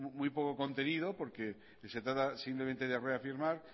muy poco contenido porque se trata simplemente de reafirmar